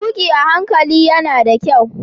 Tuki a hankali yana da kyau.